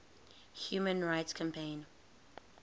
human rights campaign